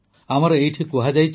ଆମର ଏଇଠି କୁହାଯାଇଛି